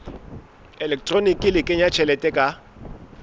elektroniki le kenya tjhelete ka